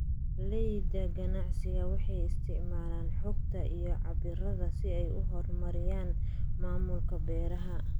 Beeralayda ganacsiga waxay isticmaalaan xogta iyo cabbirada si ay u horumariyaan maamulka beeraha.